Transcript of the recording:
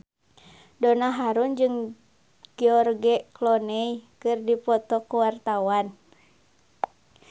Donna Harun jeung George Clooney keur dipoto ku wartawan